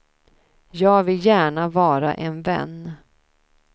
Jag vill gärna vara en vän.